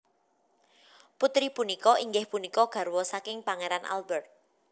Putri punika inggih punika garwa saking pangeran Albert